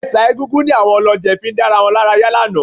Ẹ̀ṣà Egúngún ni àwọn olọ́jẹ̀ fi dá wa lára yá lánàá